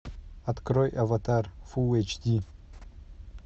открой аватар фул эйч ди